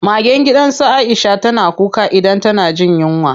Magen gidan su Aisha na kuka idan tana jin yunwa.